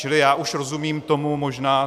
Čili já už rozumím tomu, možná...